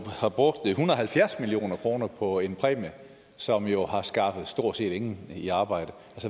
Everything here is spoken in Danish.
har brugt en hundrede og halvfjerds million kroner på en præmie som jo har skaffet stort set ingen i arbejde